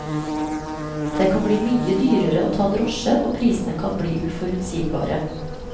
Det kan bli mye dyrere å ta drosje, og prisene kan bli uforutsigbare.